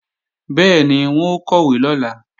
Bẹ́ẹ̀ni, wọn ó kọ̀wé lọ́la